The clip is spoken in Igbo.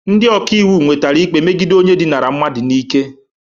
Ndị ọka iwu nwetara ikpe megide onye dinara mmadụ n'ike